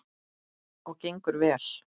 Og gengur vel.